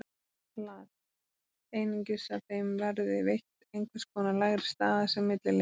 Lat. Einungis að þeim verði veitt einhvers konar lægri staða, sem milliliðir.